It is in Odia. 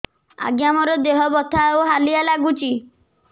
ଆଜ୍ଞା ମୋର ଦେହ ବଥା ଆଉ ହାଲିଆ ଲାଗୁଚି